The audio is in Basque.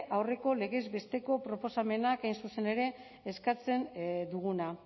aurreko legez besteko proposamenak hain zuzen ere eskatzen duguna